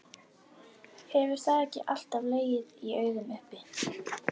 Hefur það ekki alltaf legið í augum uppi?